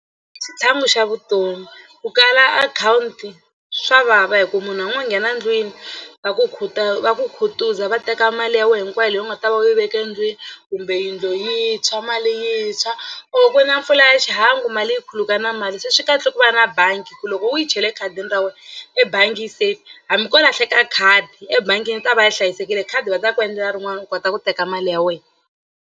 I xitlhangu xa vutomi ku kala akhawunti swa vava hikuva munhu a ngo nghena ndlwini va ku va ku khutuza va teka mali ya wena hinkwayo leyi u nga ta va u yi veke ndlwini kumbe yindlu yi tshwa mali yi tshwa or ku na mpfula ya xihangu mali yi khuluka na mali se swi kahle ku va na bangi ku loko u yi chele ekhadini ra wena ebangi yi safe hambi ko lahleka khadi ebangini yi ta va yi hlayisekile khadi va ta ku endlela rin'wani u kota ku teka mali ya wena.